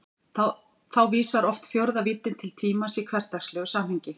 Þá vísar oft fjórða víddin til tímans í hversdagslegu samhengi.